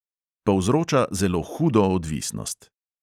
Povzroča zelo hudo odvisnost.